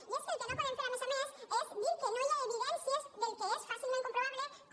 i és que el que no podem fer a més a més és dir que no hi ha evidències del que és fàcilment comprovable com